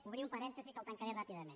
obrir un parèntesi que el tancaré ràpidament